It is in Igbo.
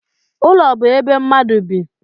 Ụlọ bụ ebe mmadu bị